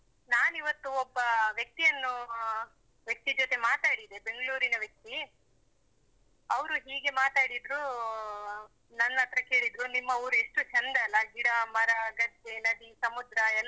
ನಾನ್ ಇವತ್ತು ಒಬ್ಬ ವ್ಯಕ್ತಿಯನ್ನು ವ್ಯಕ್ತಿ ಜೊತೆ ಮಾತಾಡಿದೆ. ಬೆಂಗ್ಳೂರಿನ ವ್ಯಕ್ತಿ. ಅವರು ಹೀಗೆ ಮಾತಾಡಿದ್ರು, ನನ್ನತ್ರ ಕೇಳಿದ್ರು, ನಿಮ್ಮ ಊರು ಎಷ್ಟು ಚೆಂದ ಅಲ್ಲ. ಗಿಡ, ಮರ, ಗದ್ದೆ, ನದಿ, ಸಮುದ್ರ ಎಲ್ಲ,